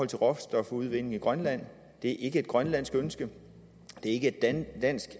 til råstofudvinding i grønland det er ikke et grønlandsk ønske det er ikke et dansk